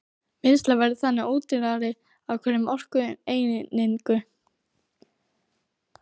Vinnsla verður þannig ódýrari á hverja orkueiningu.